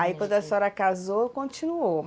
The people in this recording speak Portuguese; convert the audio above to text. Aí quando a senhora casou, continuou.